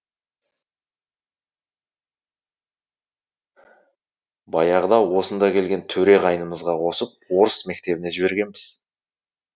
баяғыда осында келген төре қайнымызға қосып орыс мектебіне жібергенбіз